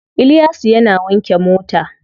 Iliyasu yana wanke mota.